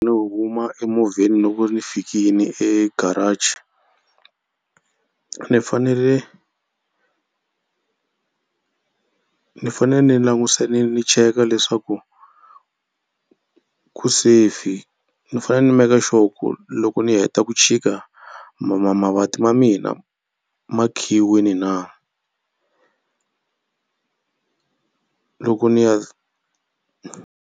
Ni huma emovheni loko ni fikini egarage ni fanele ni fanele ni ni ni cheka leswaku ku safe. Ni fanele ni make sure ku loko ni heta ku chika ma ma mavanti ma mina ma khiyiwini na loko ni ya.